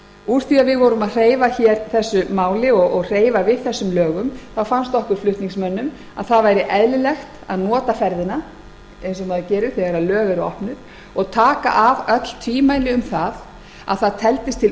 úr því að við vorum að hreyfa hér þessu máli og hreyfa við þessum lögum fannst okkur flutningsmönnum að eðlilegt væri að nota ferðina eins og maður gerir þegar lög eru opnuð og taka af öll tvímæli um að það teldist til